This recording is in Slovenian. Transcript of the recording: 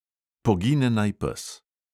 Pogine naj pes.